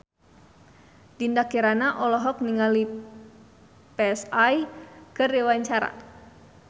Dinda Kirana olohok ningali Psy keur diwawancara